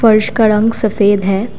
फर्श का रंग सफेद है।